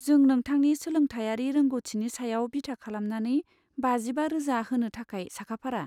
जों नोंथांनि सोलोंथायारि रोंग'थिनि सायाव बिथा खालामनानै बाजिबा रोजा होनो थाखाय साखाफारा।